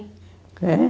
Quê?